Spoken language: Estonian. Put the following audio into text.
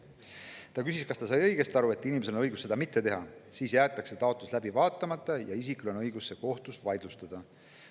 Ta küsis, kas ta sai õigesti aru, et inimesel on õigus seda mitte teha, siis jäetakse taotlus läbi vaatamata ja isikul on õigus see kohtus vaidlustada.